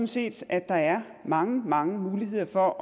set at der er mange mange muligheder for